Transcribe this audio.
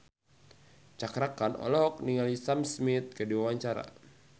Cakra Khan olohok ningali Sam Smith keur diwawancara